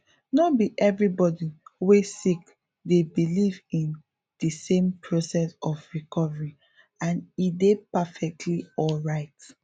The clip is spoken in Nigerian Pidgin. no be everybody wey sick dey believe in di same process of recovery and e dey perfectly alright